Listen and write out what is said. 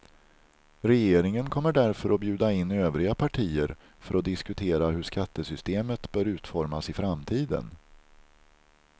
Regeringen kommer därför att bjuda in övriga partier för att diskutera hur skattesystemet bör utformas i framtiden.